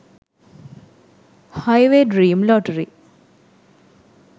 highway dream lottery